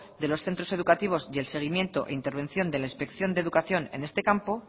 de los centros educativos y el seguimiento e intervención de la inspección de educación en este campo